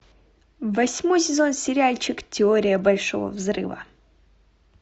восьмой сезон сериальчик теория большого взрыва